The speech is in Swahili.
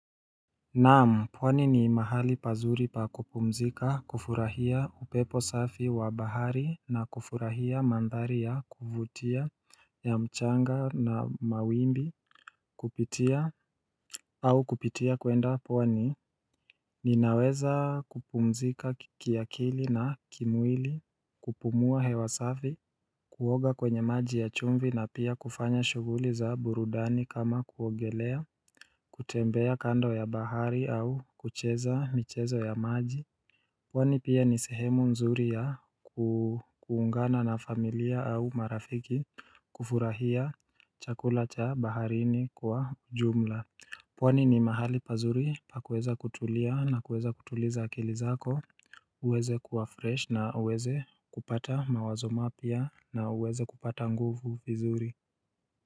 Naam pwani ni mahali pazuri pa kupumzika kufurahia upepo safi wa bahari na kufurahia mandhari ya kuvutia ya mchanga na mawimbi kupitia au kupitia kwenda pwani Ninaweza kupumzika ki kiakili na kimwili kupumua hewa safi Kuoga kwenye maji ya chumvi na pia kufanya shughuli za burudani kama kuogelea kutembea kando ya bahari au kucheza michezo ya maji pwani pia ni sehemu nzuri ya kuu kuungana na familia au marafiki kufurahia chakula cha baharini kwa jumla pwani ni mahali pazuri pa kuweza kutulia na kuweza kutuliza akili zako uweze kuwa fresh na uweze kupata mawazo mapya na uweze kupata nguvu vizuri.